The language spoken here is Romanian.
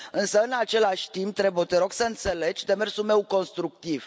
Însă, în același timp, te rog să înțelegi demersul meu constructiv.